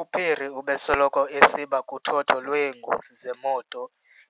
UPhiri ubesoloko esiba kuthotho lweengozi zemoto